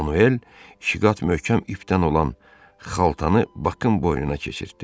Manuel iki qat möhkəm ipdən olan xaltanı Bakın boynuna keçirtdi.